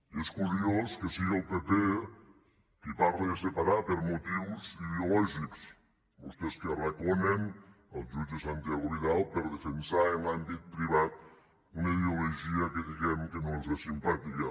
i és curiós que sigui el pp qui parla de separar per motius ideològics vostès que arraconen el jutge santiago vidal per defensar en l’àmbit privat una ideologia que diguem que no els és simpàtica